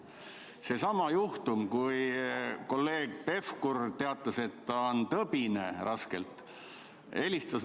Seesama juhtum, kui kolleeg Pevkur teatas, et ta on raskelt tõbine.